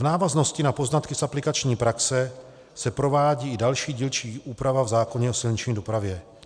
V návaznosti na poznatky z aplikační praxe se provádí i další dílčí úprava v zákoně o silniční dopravě.